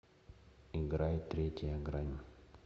играй третья грань